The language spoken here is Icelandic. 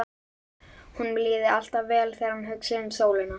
Honum líði alltaf vel þegar hann hugsi um sólina.